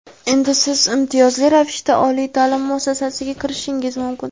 Endi Siz imtiyozli ravishda oliy ta’lim muassasasiga kirishingiz mumkin!.